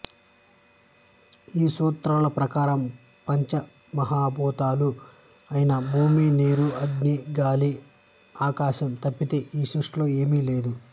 ఈ సూత్రాల ప్రకారం పంచమహాభూతాలు ఐన భూమి నీరు అగ్ని గాలి ఆకాశం తప్పితే ఈ సృష్టిలో ఏమీ లేదు